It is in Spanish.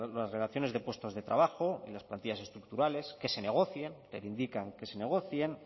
las relaciones de puestos de trabajo y las plantillas estructurales que se negocien reivindican que se negocien